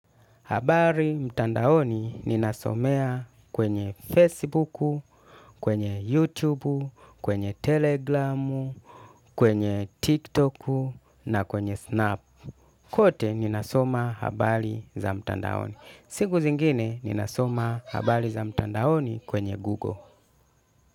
Habari mtandaoni ninasomea kwenye Facebook, kwenye YouTube, kwenye Telegram, kwenye TikTok na kwenye Snap. Kote ninasoma habari za mtandaoni. Siku zingine ninasoma habari za mtandaoni kwenye Google.